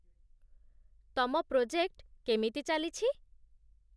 ତମ ପ୍ରୋଜେକ୍ଟ କେମିତି ଚାଲିଛି?